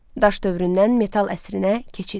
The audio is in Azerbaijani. Daş dövründən metal əsrinə keçid.